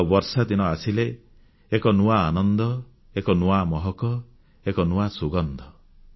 ଆଉ ବର୍ଷାଦିନ ଆସିଲେ ଏକ ନୂଆ ଆନନ୍ଦ ଏକ ନୂଆ ମହକ ଏକ ନୂଆ ସୁଗନ୍ଧ